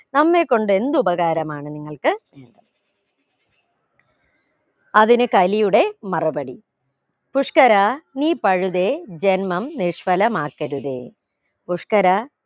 നമ്മെ കൊണ്ട് എന്ത് ഉപകാരമാണ് നിങ്ങൾക്ക് അതിന് കലിയുടെ മറുപടി പുഷ്കരാ നീ പഴുതേ ജന്മം നിഷ്ഫലമാക്കരുതേ പുഷ്കരാ